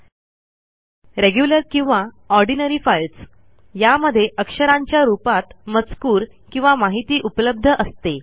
१रेग्युलर किंवा ordinary files यामध्ये अक्षरांच्या रूपात मजकूर किंवा माहिती उपलब्ध असते